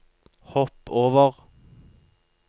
hopp over